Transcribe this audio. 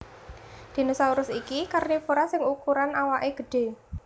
Dinosaurus iki karnivora sing ukuran awaké gedhé